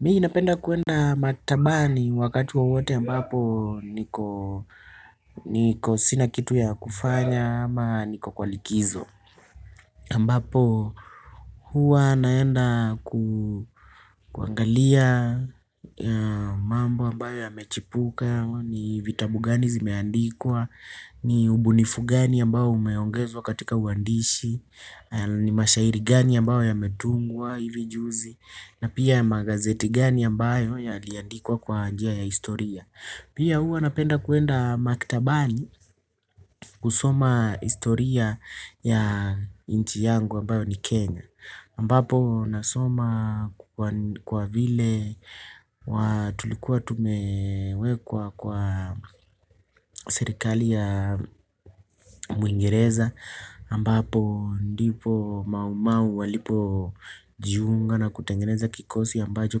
Mimi napenda kwenda matbani wakati wowote ambapo niko sina kitu ya kufanya ama niko kwa likizo. Ambapo huwa naenda kuangalia mambo ambayo yamechipuka, ni vitabu gani zimeandikwa, ni ubunifu gani ambayo umeongezwa katika uandishi, ni mashairi gani ambayo ya metungwa hivi juzi. Na pia magazeti gani ambayo yaliandikwa kwa njia ya historia. Pia hua napenda kwenda maktabani kusoma historia ya inchi yangu ambayo ni Kenya Ambapo nasoma kwa vile tulikuwa tumewekwa kwa serikali ya mwingereza ambapo ndipo mau mau walipojiunga na kutengeneza kikosi ambacho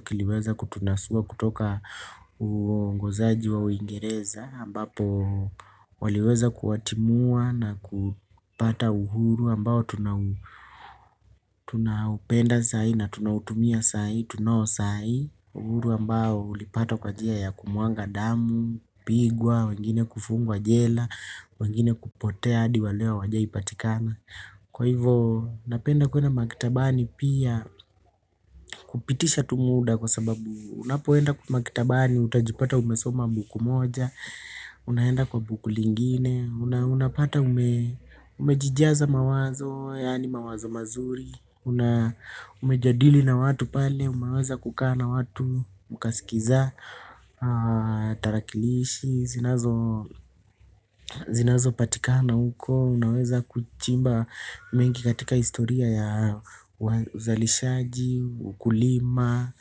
kiliweza kutunasua kutoka uongozaji wa uingereza ambapo waliweza kuwatimua na kupata uhuru ambao tunaupenda saai na tunautumia saai, tunao saai. Uhuru ambao ulipata kwa jia ya kumwanga damu, kupigwa, wengine kufungwa jela, wengine kupotea hadi wa leo hawajawahipatikana. Kwa hivyo, napenda kwena maktabani pia kupitisha tu muda kwa sababu unapoenda kwa maktabani, utajipata umesoma buku moja, unaenda kwa buku lingine, unapata umejijiaza mawazo, yani mawazo mazuri, na umejadili na watu pale umeweza kukaa na watu mukasikiliza tarakilishi zinazopatikana huko. Unaweza kuchimba mengi katika historia ya uzalishaji, ukulima.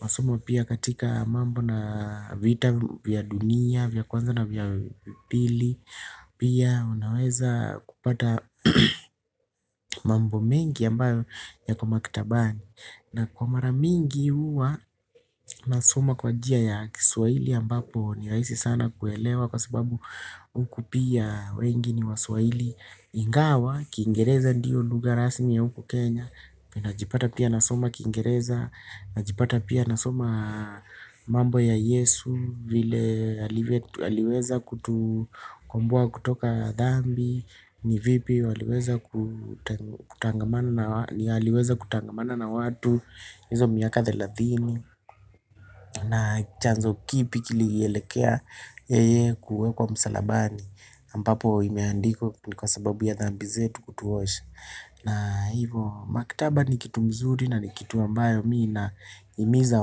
Masomo pia katika mambo na vita vya dunia vya kwanza na vya pili. Pia unaweza kupata mambo mengi ambayo yako makitabani. Na kwa mara mingi huwa nasoma kwan jia ya kiswahili ambapo ni rahisi sana kuelewa kwa sababu huku pia wengi ni waswahili ingawa kiingereza ndiyo lugha rasmi ya huku Kenya najipata pia nasoma kiingereza, najipata pia nasoma mambo ya Yesu vile aliweza kutukomboa kutoka dhambi, ni vipi aliweza kutangamana na watu hizo miaka thelathini. Na chanzo kipi kilielekea yeye kuwekwa msalabani ambapo imeandikwa ni kwa sababu ya dhambi zetu kutuosha. Na hivo maktaba ni kitu nzuri na ni kitu ambayo mii nahimiza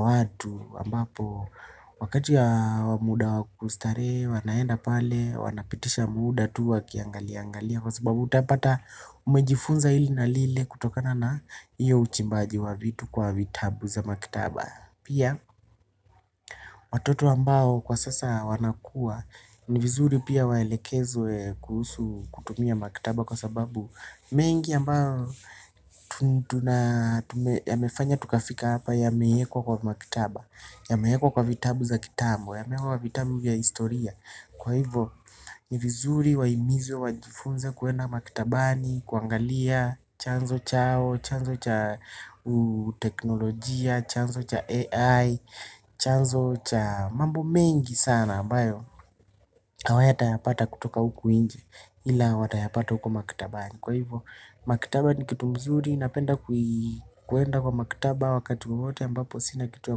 watu ambapo wakati ya muda wa kustarehe wanaenda pale wanapitisha muda tu wakiangaliangalia kwa sababu utapata umejifunza ili na lile kutokana na iyo uchimbaji wa vitu kwa vitabu za maktaba. Pia watoto ambao kwa sasa wanakua, ni vizuri pia waelekezwe kutumia maktaba kwa sababu mengi ambayo tuna yamefanya tukafika hapa yamewekwa kwa maktaba, yamewekwa kwa vitabu za kitambo, yamewekwa vitabu ya historia. Kwa hivyo ni vizuri wahimizi wajifunze kwenda maktabani, kuangalia, chanzo chao, chanzo cha teknolojia, chanzo cha AI, chanzo cha mambo mengi sana ambayo hawatayapata kutoka huku nje, ila watayapata huko maktabani. Kwa hivyo, maktaba ni kitu nzuri napenda kwenda kwa maktaba wakati wowote ambapo sina kitu ya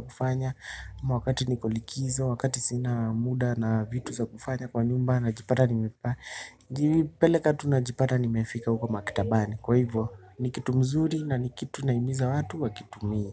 kufanya ama wakati niko likizo, wakati sina muda na vitu za kufanya kwa nyumba najipada nimepeleka tu najipata ni mefika huko maktabani. Kwa hivyo ni kitu nzuri na ni kitu nahimiza watu wakitumie.